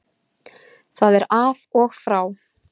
Það er af og frá